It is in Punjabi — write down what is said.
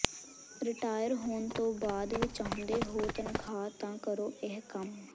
ਰਿਟਾਇਰ ਹੋਣ ਤੋਂ ਬਾਅਦ ਵੀ ਚਾਹੁੰਦੇ ਹੋ ਤਨਖਾਹ ਤਾਂ ਕਰੋ ਇਹ ਕੰਮ